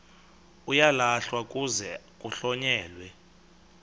uyalahlwa kuze kuhlonyelwe